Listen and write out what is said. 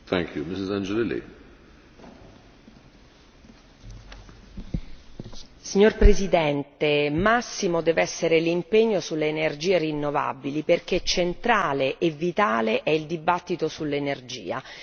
Signor Presidente, onorevoli colleghi, massimo deve l'impegno sulle energie rinnovabili perché centrale e vitale è il dibattito sull'energia. Le parole d'ordine devono essere accessibilità e prezzi sostenibili.